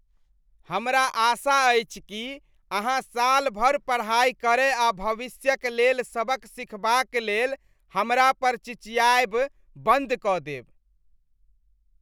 हमरा आशा अछि कि अहाँ साल भर पढ़ाई करय आ भविष्यक लेल सबक सीखबाक लेल हमरा पर चिचियायब बन्द कऽ देब।